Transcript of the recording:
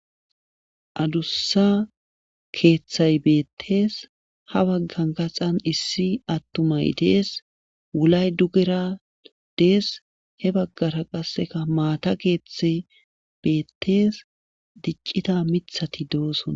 adussa keeththay beettees ha baggan kaxan issi attumay dees wulay dugera dees he baggara qasseka maata keeththay beettees diccita mithati dooson